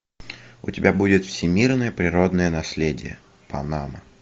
у тебя будет всемирное природное наследие панама